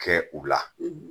Kɛ u la